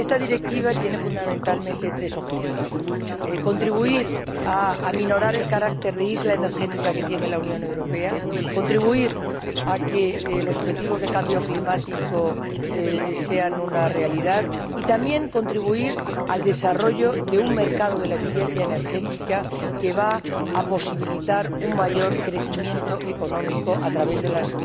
Esta Directiva tiene, fundamentalmente, tres objetivos contribuir a reducir el carácter de isla energética que tiene la Unión Europea, contribuir a que los objetivos de cambio climático sean una realidad, y también contribuir al desarrollo de un mercado de la eficiencia energética que va a posibilitar un mayor crecimiento económico a través de las